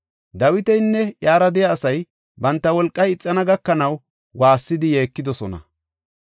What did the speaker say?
Dawitinne iyara de7iya asay banta wolqay ixana gakanaw waassidi yeekidosona.